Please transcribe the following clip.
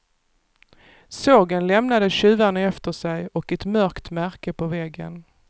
Sågen lämnade tjuvarna efter sig, och ett mörkt märke på väggen.